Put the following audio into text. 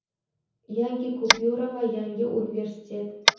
yangi kupyura va yangi universitet.